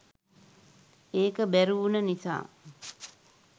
ඒක බැරි වුණ නිසා.